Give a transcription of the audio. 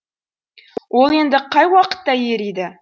ол енді қай уақытта ериді